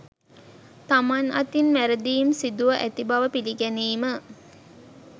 තමන් අතින් වැරදීම් සිදුව ඇති බව පිළිගැනීම